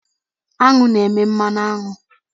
Aṅụ na-eme mmanụ aṅụ.